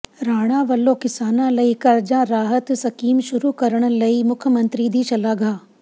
ਰਾਣਾ ਵੱਲੋਂ ਕਿਸਾਨਾਂ ਲਈ ਕਰਜ਼ਾ ਰਾਹਤ ਸਕੀਮ ਸ਼ੁਰੂ ਕਰਨ ਲਈ ਮੁੱਖ ਮੰਤਰੀ ਦੀ ਸ਼ਲਾਘਾ